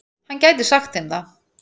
Hann gæti sagt þeim það.